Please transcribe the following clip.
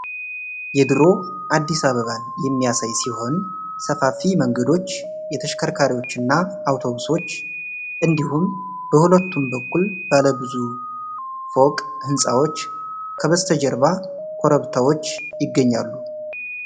የድሮ አዲስ አበባን የሚያሳይ ሲሆን፣ ሰፋፊ መንገዶች፣ የተሽከርካሪዎች እና አውቶቡሶች እንዲሁም በሁለቱም በኩል ባለ ብዙ ፎቅ ህንፃዎች ። ከበስተጀርባ ኮረብታዎች ይገኛሉ።